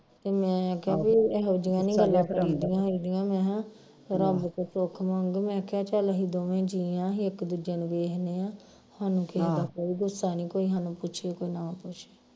ਤੇ ਮੈਂ ਕਿਹਾ ਬਈ ਇਹੋ ਜਿਹੀਆਂ ਨਹੀਂ ਗੱਲਾਂ ਕਰੀਦੀਆਂ ਹੁੰਦੀਆਂ ਮੈ ਹਾ ਰੱਬ ਕੋਲ ਸੁੱਖ ਮੰਗ ਮੈਂ ਕਿਹਾ ਚੱਲ ਅਹੀਂ ਦੋਵੇ ਜੀ ਆ ਅਹੀ ਇਕ ਦੂਜੇ ਨੂੰ ਵੇਖਦੇ ਹਾ ਹਾਨੂੰ ਕਿਹੇ ਦਾ ਕੋਈ ਗੁੱਸਾ ਨਹੀਂ ਸਾਨੂੰ ਕੋਈ ਪੁੱਛੇ ਕੋਈ ਨਾ ਪੁੱਛਾ